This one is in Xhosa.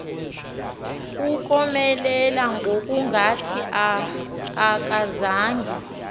ukomelela ngokungathi akazange